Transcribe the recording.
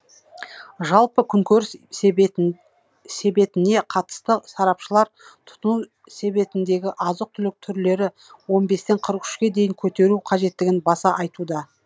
жалпы күнкөріс себетін себетіне қатысты сарапшылар тұтыну себетіндегі азық түлік түрлері он бестен қырық үшке дейін көтеру қажеттігін баса айтуда